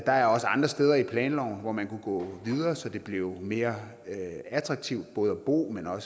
der er også andre steder i planloven hvor man kunne gå videre så det blev mere attraktivt både at bo og